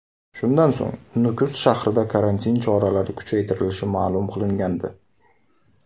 Shundan so‘ng Nukus shahrida karantin choralari kuchaytirilishi ma’lum qilingandi .